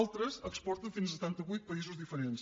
altres exporten fins a setanta vuit països diferents